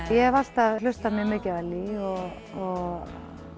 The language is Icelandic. hef alltaf hlustað mjög mikið á Ellý og